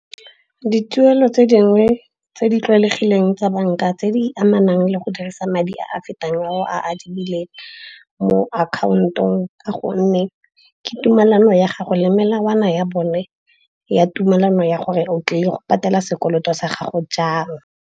Dituelo tse dingwe tse di tlwaelegileng tsa banka tse di amanang le go dirisa madi a a fetang a o a adimileng mo akhaontong, ka gonne ke tumelano ya gago le melawana ya bone ya tumelano ya gore o tlile go patela sekoloto sa gago jang.